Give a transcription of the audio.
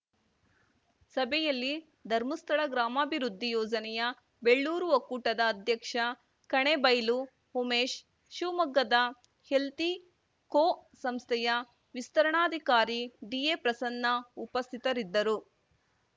ಸಭೆಯಲ್ಲಿ ಧರ್ಮಸ್ಥಳ ಗ್ರಾಮಾಭಿವೃದ್ಧಿ ಯೋಜನೆಯ ಬೆಳ್ಳೂರು ಒಕ್ಕೂಟದ ಅಧ್ಯಕ್ಷ ಕಣೇಬೈಲು ಉಮೇಶ್‌ ಶಿವಮೊಗ್ಗದ ಹೆಲ್ತಿ ಕೋ ಸಂಸ್ಥೆಯ ವಿಸ್ತರಣಾಧಿಕಾರಿ ಡಿಎಪ್ರಸನ್ನ ಉಪಸ್ಥಿತರಿದ್ದರು